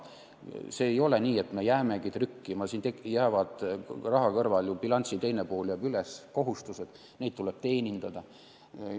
See ei ole nii, et me jäämegi seda trükkima, bilansi teine pool jääb ju üles, kohustusi tuleb teenindada.